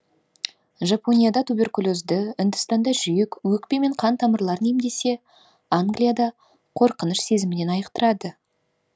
жапонияда туберкулезді үндістанда жүрек өкпе мен қан тамырларын емдесе англияда қорқыныш сезімінен айықтырады